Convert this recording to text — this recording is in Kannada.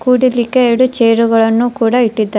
ಕೂಡಲಿಕ್ಕೆ ಎರಡು ಚೇರ್ ಗಳನ್ನು ಕೂಡ ಇಟ್ಟಿದ್ದಾರೆ.